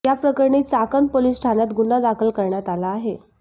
या प्रकरणी चाकण पोलीस ठाण्यात गुन्हा दाखल करण्यात आला आहे